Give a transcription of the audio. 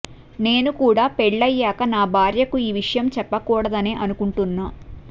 నేను కూడా పెళ్లయ్యాక నా భార్యకు ఈ విషయం చెప్పకూడదనే అనుకుంటున్నా